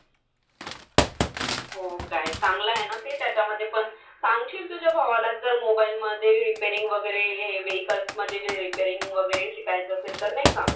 हो काय. चांगलं आहे ना ते त्याच्यामधे पण. सांगशील तुझ्या भावाला जर mobile मधे repairing वगैरे हे vehicles मधे जे repairing वगैरे शिकायचं असेल तर. नाही का?